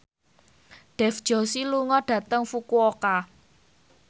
Dev Joshi lunga dhateng Fukuoka